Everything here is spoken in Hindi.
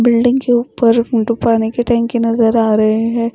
बिल्डिंग के ऊपर दो पानी के टंकी नजर आ रहे हैं।